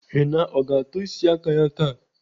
Henna ọ ga-atọ isi aka ya taa?